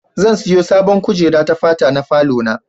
Zan siyo sabon kujera ta fata na falo na.